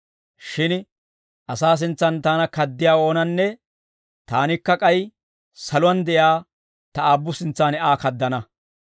shin asaa sintsaan taana kaddiyaa oonanne taanikka k'ay saluwaan de'iyaa ta Aabbu sintsaan Aa kaddana.